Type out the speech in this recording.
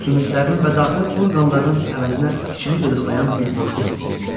Sümüklərinin və daxili orqanlarının əvəzinə içini qıdıqlayan bir boşluq hiss edirdi.